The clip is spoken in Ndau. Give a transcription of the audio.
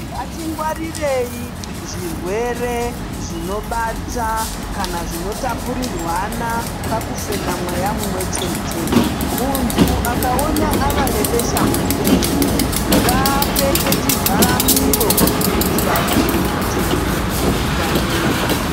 Ngatingwarirei zvirwere zvinobata kana zvinotapurirwana pakufema mweya mumwe chete. Muntu akaona ava nebeshamupengo ngaapfeke chivhara miro kuitira kuchengetedza vamweni.